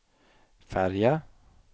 färja